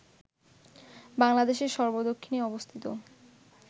বাংলাদেশের সর্ব দক্ষিণে অবস্থিত